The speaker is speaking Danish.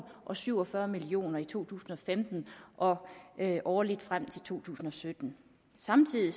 og syv og fyrre million kroner i to tusind og femten og årligt frem til to tusind og sytten samtidig